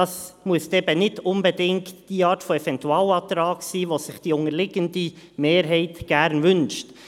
Es müsste nicht unbedingt die Art Eventualantrag sein, den sich die unterliegende Mehrheit gerne wünscht.